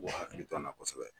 K'u k'u hakilito an na kosɛbɛ